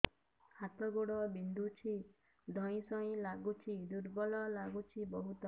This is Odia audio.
ହାତ ଗୋଡ ବିନ୍ଧୁଛି ଧଇଁସଇଁ ଲାଗୁଚି ଦୁର୍ବଳ ଲାଗୁଚି ବହୁତ